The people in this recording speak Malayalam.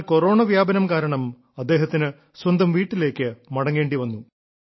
എന്നാൽ കൊറോണ വ്യാപനം കാരണം അദ്ദേഹത്തിന് സ്വന്തം വീട്ടിലേക്ക് മടങ്ങേണ്ടി വന്നു